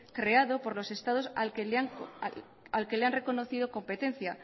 creado por los estados al que le han reconocido competencia